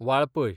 Valpoi